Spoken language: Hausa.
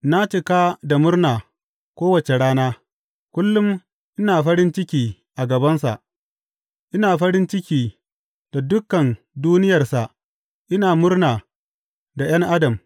Na cika da murna kowace rana, kullum ina farin ciki a gabansa, ina farin ciki da dukan duniyarsa ina murna da ’yan adam.